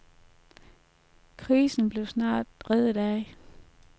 Krisen blev snart redet af.